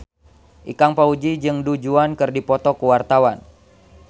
Ikang Fawzi jeung Du Juan keur dipoto ku wartawan